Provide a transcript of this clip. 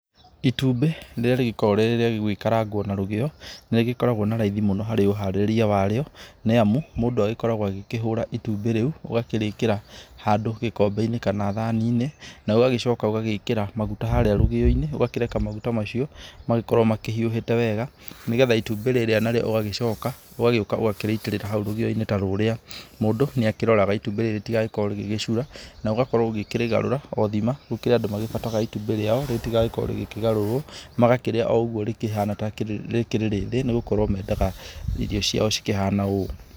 Itumbĩ rĩrĩa rĩgĩkoragũo rĩrĩa gũgĩkarangũo na rũgĩo, nĩ rĩgĩkoragũo na raithi harĩ ũharĩrĩria warĩo nĩ amu mũndũ agĩkoragũo agĩkĩhura itumbĩ rĩu, ũgakĩrĩkĩra handũ gĩkombe-inĩ kana thaani-inĩ na ũgagĩcoka ũgagĩkĩraa maguta harĩa rũgĩyo-inĩ. Ũgakĩreka maguta macio magĩkorũo makĩhiũhĩte wega nĩgetha itumbĩ rĩrĩa na rĩo ũgagĩcoka ũgagĩũka ũgakĩrĩitĩrĩra hau rũgĩyo-inĩ ta rũrĩa. Mũndũ nĩ akĩroraga itumbĩ rĩrĩ ritigagĩkorũo rĩgĩgĩcura na ũgakorũo ũgĩkĩrĩgarũra, o thima gũkĩrĩ andũ magĩbataraga itumbĩ rĩao rĩtigagĩkorũo rĩkĩgarũrũo, magakĩrĩa o ũguo rĩkĩhana taarĩ rĩthĩ, nĩ gũkorũo meendaga irio ciao cikĩhana ũũ.